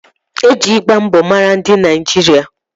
E ji ịgba mbọ mara ndị Naịjirịa